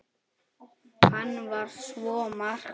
Hann var svo margt.